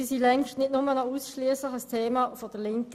Sie sind längst nicht mehr ausschliesslich ein Thema der Linken.